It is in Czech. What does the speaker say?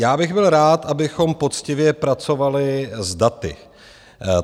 Já bych byl rád, abychom poctivě pracovali s daty.